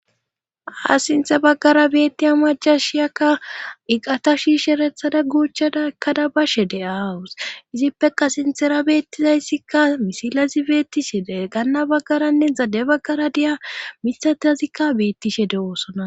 Haa sinthe baggara beettiya majashiyakka iqata shiisherethada guuchchadekada bashe de aawus izippeka sintera beettizayssikka misilazi beettishede ganna baggaranne zade baggara diya mitatazikka beettishe de oosona.